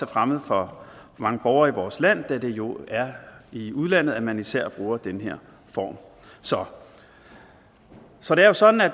fremmed for mange borgere i vores land da det jo er i udlandet man især bruger den her form så så det er jo sådan at